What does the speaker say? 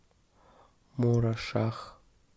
мурашах